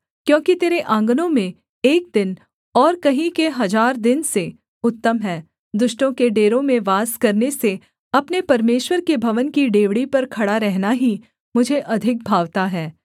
क्योंकि तेरे आँगनों में एक दिन और कहीं के हजार दिन से उत्तम है दुष्टों के डेरों में वास करने से अपने परमेश्वर के भवन की डेवढ़ी पर खड़ा रहना ही मुझे अधिक भावता है